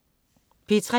P3: